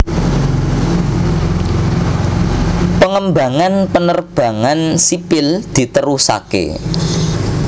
Pengembangan penerbangan sipil diterusaké